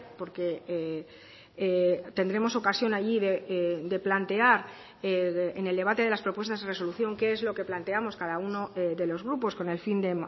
porque tendremos ocasión allí de plantear en el debate de las propuestas de resolución qué es lo que planteamos cada uno de los grupos con el fin de